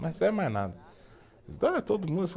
Não recebe mais nada, ah